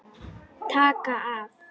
Taka af.